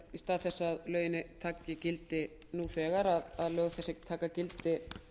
í stað þess að lögin taki gildi nú þegar taki þau gildi